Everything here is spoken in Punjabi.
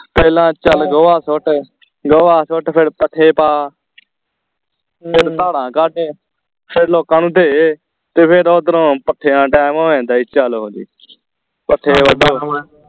ਪਹਿਲਾਂ ਚੱਲ ਗੋਆ ਸੁੱਟ ਗੋਆ ਸੁੱਟ ਫੇਰ ਪੱਠੇ ਪਾ ਫੇਰ ਧਾਰਾਂ ਕੱਢ ਫੇਰ ਲੋਕਾਂ ਨੂੰ ਦੇ ਤੇ ਫੇਰ ਓਧਰੋਂ ਪੱਠਿਆਂ ਦਾ ਟੈਮ ਹੋ ਜਾਂਦਾ ਈ ਚਲੋ ਜੀ ਪੱਠੇ ਵੱਢੋ